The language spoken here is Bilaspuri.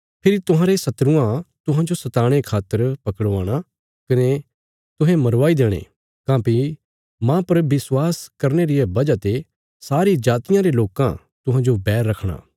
फेरी तुहांरे शत्रुआं तुहांजो सताणे खातर पकड़वाणा कने तुहें मरवाई देणे काँह्भई मांह पर विश्वास करने रिया वजह ते सारी जातियां रे लोकां तुहांजो बैर रखणा